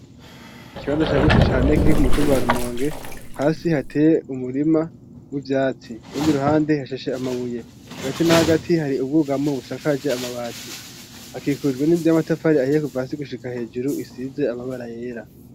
Ikibanza cagutse cane kiri k'umutumba wa Rumonge hasi hateye umurima w'ivyatsi kandi i ruhande hasheshe amabuye hagati na hagati hari ubwugamo busakaje amabati hakikujwe n'inzu y'amatafari ahiye kuva hasi gushika hejuru isize amabara yera.